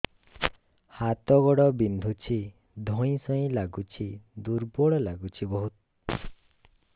ହାତ ଗୋଡ ବିନ୍ଧୁଛି ଧଇଁସଇଁ ଲାଗୁଚି ଦୁର୍ବଳ ଲାଗୁଚି ବହୁତ